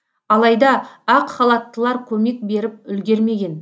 алайда ақ халаттылар көмек беріп үлгермеген